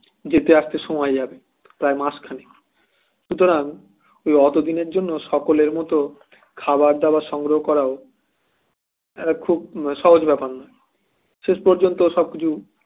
যেতে আসতে সময় যাবে প্রায় মাসখানেক সুতরাং ওই অত দিনের জন্য সকলের মত খাবার দাওয়ার সংগ্রহ করাও একটা খুব মানে সহজ ব্যাপার না শেষ পর্যন্ত সবকিছু